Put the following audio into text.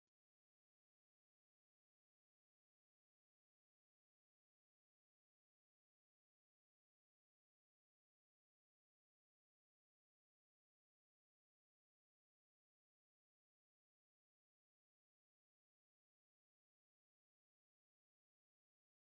Meeshaa manaa Kan harka namaatiin tolfamaniidha. meeshaleen Kuni migira irraan Kan hojjatamanuufi dangaan Isaa halluu biraatiin irratti hodhameedha. meeshaan Kuni yeroo baay'ee buddeena keessa kaa'uuf, daabboo keessa olkaa'ufi kanneen biroof oola. meeshaan Kuni baay'inaan naannawa baadiyaatti baay'inaan hojjatama.